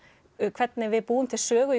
hvernig við búum til sögu